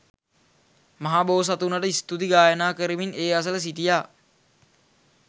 මහබෝසතුනට ස්තුති ගායනා කරමින් ඒ අසළ සිටියා.